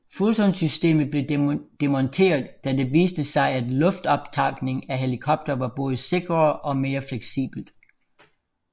Fulton systemet blev demonteret da det viste sig at luftoptankning af helikoptere var både sikrere og mere fleksibelt